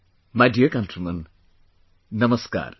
My dear countrymen, Namaskar